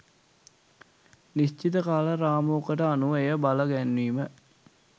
නිශ්චිත කාල රාමුවකට අනුව එය බලගැන්වීම